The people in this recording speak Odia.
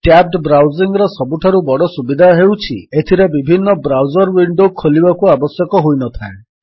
ଟ୍ୟାବ୍ଡ ବ୍ରାଉଜିଙ୍ଗ୍ ର ସବୁଠାରୁ ବଡ଼ ସୁବିଧା ହେଉଛି ଏଥିରେ ବିଭିନ୍ନ ବ୍ରାଉଜର୍ ୱିଣ୍ଡୋ ଖୋଲିବାକୁ ଆବଶ୍ୟକ ହୋଇନଥାଏ